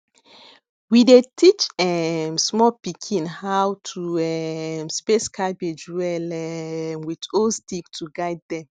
we dey teach um small pikin hoiw to um space cabbage well um with old stick to guide dem